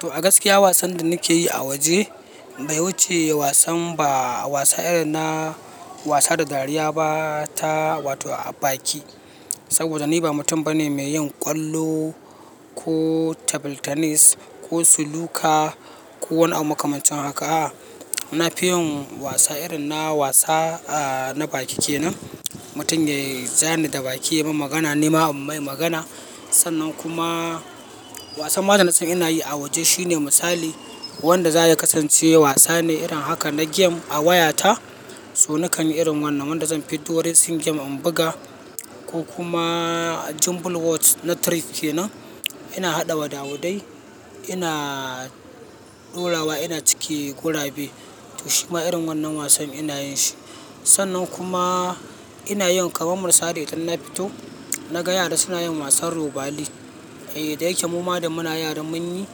To a gaskiya wasan da nike yi a waje bai wuce wasan ba. Wasan irin na wasa da dariya ba ta, wato baki. Saboda ni ba mutum bane mai yin ƙwallo, ko table tennis, ko suluka ko wani abu makamancin haka. Na fi yin wasa irin na wasa a na baki kenan. Mutum ya zane da baki ya ma magana, ni ma in mai magana. Sannan kuma wasan ma da na san ina yi a waje shine misali wanda za ya kasance wasane irin haka na game a wayata. So nakan yi irin wannan wanda zan fiddo racing game in buga ko kuma jumble words na trick kenan. Ina haɗawa da wada wada, ina dorawa ina cike gurabe. To shima irin wannan wasan ina yin shi. Sannan kuma ina yin kamar misali in na fito na ga yara suna yin wasan robali. Da yake muma da muna yara mun yi,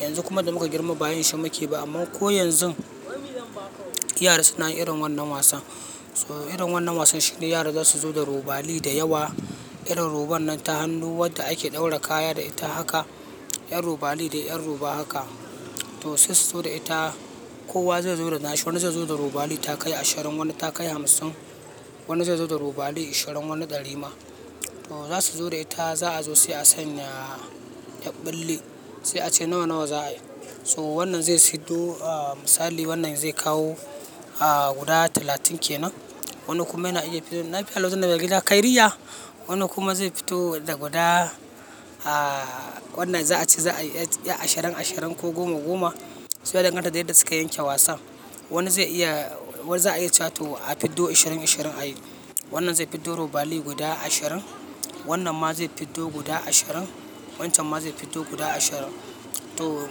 yanzu kuma da muka girma ba yin shi muke ba. Amma ko yanzun, yara suna yin irin wannan wasan. So irin wannan wasan shine yara za su zo da robali da yawa. Irin roban nan ta hannu wanda ake ɗaura kaya da ita haka. 'Yar robali da 'yar roba haka. To sun so da ita. Kowa zai zo da nashi. Wani zai zo da robali takai ashirin, wani takai hamsin. Wani zai zo da robali ishirin wani ɗari ma. To za su zo da ita za a zo sai a sanya ƴa bulle sai a ce nawa nawa za ai. So wannan zai fiddo a misali wannan zai kawo a guda talatin kenan. Wani kuma yana iya fin lafiya lau tin saga gida kairiyya. Wani kuma ze fito da guda wanda za'ace za'ai ƴa ashirin ashirin ko gkma goma ya danganta da yadda suka yanke wasan. Wani zai iya, wa za a iya cewa to a fiddo ashirin, ashirin a yi. Wannan zai fiddo robali guda ashirin. Wannan ma zai fiddo guda ashirin. Wancan ma zai fiddo guda ashirin. To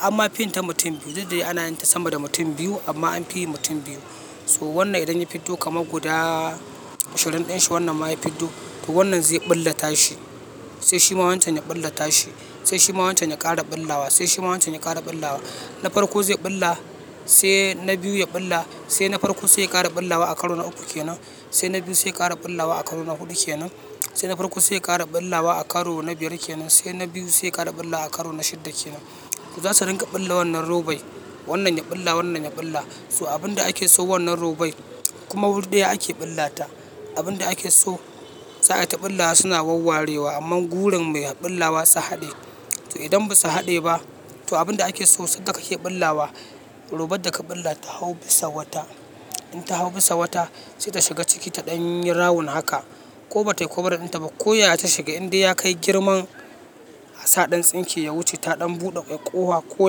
amma fin ta mutum biyu didde ana yin ta sama da mutum biyu amma an yi mutum biyu. So wannan idan ya fiddo kama guda ashirin ɗin shi wannan ma ya fiddo. To wannan zai ɓulla tashi. Sai shi ma wancan ya ɓullata shi. Se shima wancan ya ƙara bullawa se shima wancan ya ƙara bullawa na farko zai ɓulla. Sai na biyu ya ɓulla. Sai na farko sai ƙara ɓullawa a karo na uku kenan. Sai na biyu sai ƙara ɓullawa a karo na hudu kenan. Sai na farko sai ƙara ɓullawa a karo na biyar kenan. Sai na biyu sai ƙara ɓulla a karo na shidda kenan. Za su ringa ɓulla wannan robai. Wannan ya ɓulla, wannan ya ɓulla. So abin da ake so wannan robai kuma wuri daya ake ɓullata. Abin da ake so sa a ta ɓullawa suna wawarewa amma gurin mai ɓullawa su haɗe. To idan ba su haɗe ba, to abin da ake so sadda kake ɓullawa. Roba da ka ɓulla ta hau bisa wata. Inta hau bisa wata saita shiga ciki ta ɗan yi rawun haka ko batai covering ɗinta ba. Ko yaya ta shiga inda ya kai girman a saɗan tsinke ya wuce ta ɗan buɗe ƙofa ko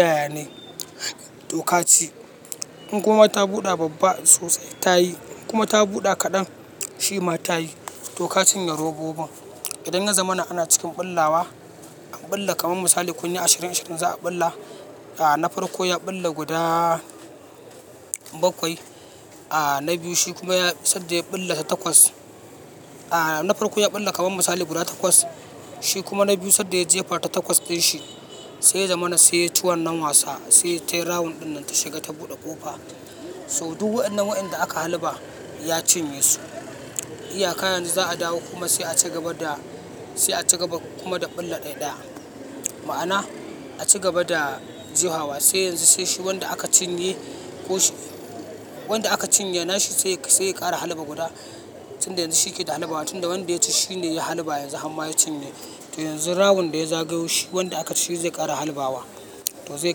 yaya ne. To ka ci. In kuma ta buɗe babba sosai ta yi. In kuma ta buɗe kaɗan shi ma ta yi. To ka cinye robobin idan ya zamana ana cikin billawa an billa kaman misali kunyi ashirin ashirin za'a filla na farko ya ɓulla guda bakwai. Na biyu shi kuma ya sadda ya ɓulla ta takwas. A na farko ya ɓulla kamar misali guda takwas. Shi kuma na biyu sadda ya jefa ta takwas ɗin shi sai ya zamana sai ya ci wannan wasa. Se tayi rawun ɗinnan ta shiga ta bude ƙofa. So duk waɗannan waɗanda aka halba ya cinye su. Iyaka yanzu za a dawo kuma sai a ci gaba da, sai a ci gaba kuma da ɓulla ɗai ɗaya. Ma'ana a ci gaba da je hawa. Sai yanzu sai shi wanda aka cinye ko shi wanda aka cinye na shi sai, sai ƙara halba guda. Tinda yanzu shi keda halbawa tunda wanda yaci nishe ya halba yanzu harma ya cinye to yanzu rawun daya zagayo shi wanda aka ci ze ƙara harbawa to zai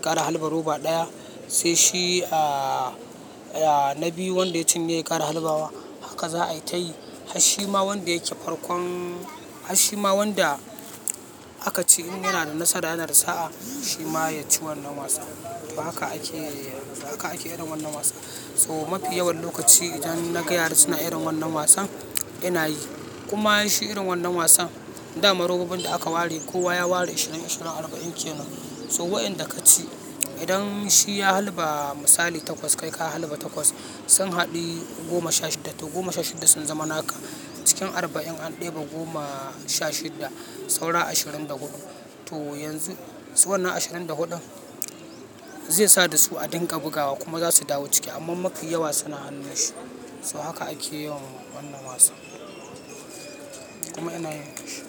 ƙara halba roba ɗaya. Sai shi a ya na biyu wanda ya cinye ya ƙara halbawa. Haka za a yi tayi. Shi ma wanda yake farkon, hasshi ma wanda aka ci in yana da nasara yana da sa'a shi ma ya ci wannan wasa. To haka ake, haka ake irin wannan wasan. So mafi yawan lokaci idan na ga yara suna irin wannan wasan, ina yi kuma shi irin wannan wasan, da ma robobin da aka ware kowa ya ware ishirin ishirin arba'in kenan. So wayanda ka ci idan shi ya halba misali takwas kai ka halba takwas sun haɗu goma sha shidda. To goma sha shidda sun zama naka. Cikin arba'in an ɗebe goma sha shidda saura ashirin da huɗu. To yanzu su wannan ashirin da huɗun zai sa da su a dinga bugawa kuma za su dawo ciki amma mafi yawa suna hannun shi. So haka ake yawan wannan wasan kuma yana yin.